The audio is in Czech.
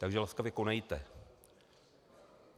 Takže laskavě konejte.